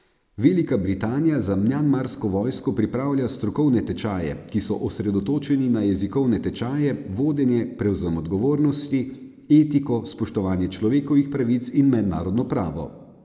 Velika Britanija za mjanmarsko vojsko pripravlja strokovne tečaje, ki so osredotočeni na jezikovne tečaje, vodenje, prevzem odgovornosti, etiko, spoštovanje človekovih pravic in mednarodno pravo.